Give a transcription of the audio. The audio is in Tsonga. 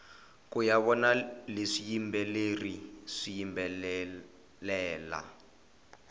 kuya vona swiyimbeleri swiyimbelela